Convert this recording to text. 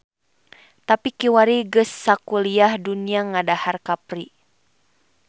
Tapi kiwari geus sakuliah dunya ngadahar kapri.